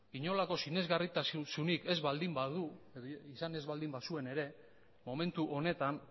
inolako sinesgarritasunik ez baldin badu izan ez baldin bazuen ere momentu honetan